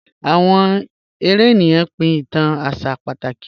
Awọn èrè ènìyàn pín ìtàn àṣà pátákì